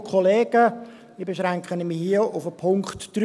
Ich beschränke mich auf den Punkt 3.